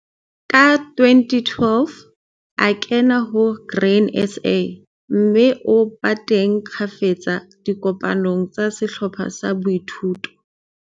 Ka 2012 a kena ho Grain SA, mme o ba teng kgafetsa dikopanong tsa sehlopha sa boithuto.